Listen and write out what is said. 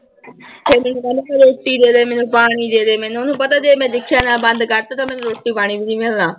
ਫਿਰ ਮੈਨੂੰ ਕਹਿੰਦਾ ਰੋਟੀ ਦੇ ਦੇ ਮੈਨੂੰ ਪਾਣੀ ਦੇ ਦੇ ਮੈਨੂੰ, ਉਹਨੂੰ ਪਤਾ ਜੇ ਮੈਂ ਬੰਦ ਕਰ ਦਿੱਤਾ ਤਾਂ ਮੈਨੂੰ ਰੋਟੀ ਪਾਣੀ ਵੀ ਨੀ ਮਿਲਣਾ।